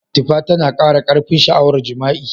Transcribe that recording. Tifa tana kara karfin sha'awar jima'i.